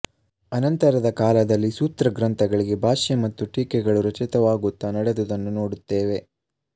ಅನಂತರದ ಕಾಲದಲ್ಲಿ ಸೂತ್ರಗ್ರಂಥಗಳಿಗೆ ಭಾಷ್ಯ ಮತ್ತು ಟೀಕೆಗಳು ರಚಿತವಾಗುತ್ತ ನಡೆದುದನ್ನು ನೋಡುತ್ತೇವೆ